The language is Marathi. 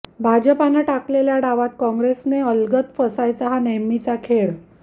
भाजपनं टाकलेल्या डावात कॉग्रेसनं अलगत फसायचं हा नेहमीचा खेळ